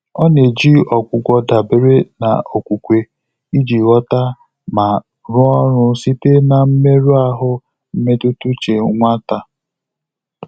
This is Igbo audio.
Ọ́ nà-éjí ọ́gwụ́gwọ́ dàbéré nà ókwúkwé ìjí ghọ́tà mà rụ́ọ́ ọ́rụ́ sìté nà mmérụ́ áhụ́ mmétụ́tà úchè nwátá.